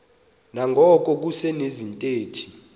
nangona kusekho izithethi